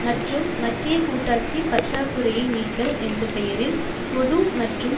மற்றும் மத்திய கூட்டாட்சி பற்றாக்குறையை நீக்கல் என்ற பெயரில் பொது மற்றும்